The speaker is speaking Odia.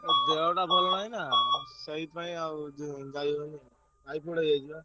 ଦେହଟା ଭଲ ନାହିଁନା ସେଇଥିପାଇଁ ଆଉ ଯୋଉ ଯାଇହଉନି Typhoid ହେଇ ଯାଇଛି ବା।